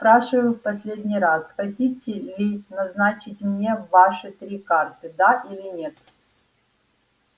спрашиваю в последний раз хотите ли назначить мне ваши три карты да или нет